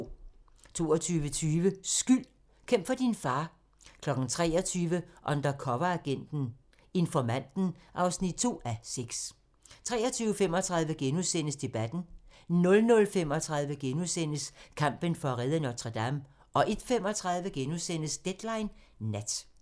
22:20: Skyld - Kæmp for din far 23:00: Undercoveragenten - Informanten (2:6) 23:35: Debatten * 00:35: Kampen for at redde Notre-Dame * 01:35: Deadline Nat